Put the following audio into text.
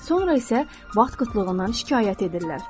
Sonra isə vaxt qıtlığından şikayət edirlər.